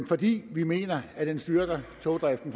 fordi vi mener at den styrker togdriften